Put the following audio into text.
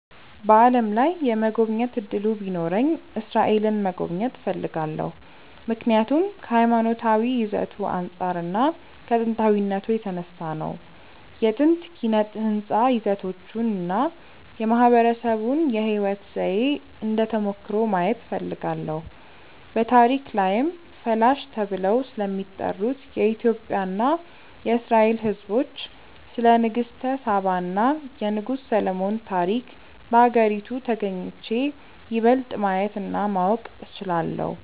በዓለም ላይ የመጎብኘት እድሉ ቢኖረኝ እስራኤልን መጎብኘት እፈልጋለሁ። ምክንያቱም ከሀይማኖታዊ ይዘቱ አንፃር እና ከጥንታዊነቱ የተነሳ ነው። የጥንት ኪነ ህንፃ ይዘቶቹን እና የማህበረሰቡን የህይወት ዘዬ እንደ ተሞክሮ ማየት እፈልጋለሁ። በታሪክ ላይም ፈላሻ ተብለው ስለሚጠሩት የኢትዮጵያ እና የእስራኤል ህዝቦች፣ ስለ ንግስተ ሳባ እና የንጉስ ሰሎሞን ታሪክ በሀገሪቱ ተግኝቼ ይበልጥ ማየት እና ማወቅ እችላለሁ።